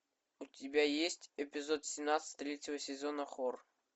у тебя есть эпизод семнадцать третьего сезона хор